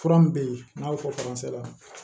Fura min bɛ yen n'a y'o fɔ la